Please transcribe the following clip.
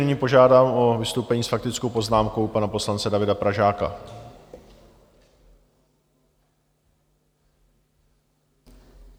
Nyní požádám o vystoupení s faktickou poznámkou pana poslance Davida Pražáka.